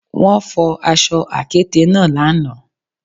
Wọ́n fọ aṣọ àkéte náà lánàá